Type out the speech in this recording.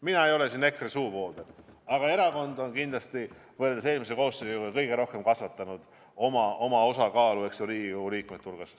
Mina ei ole siin EKRE suuvooder, aga see erakond on kindlasti võrreldes eelmise koosseisuga kõige rohkem kasvatanud oma osakaalu Riigikogu liikmete hulgas.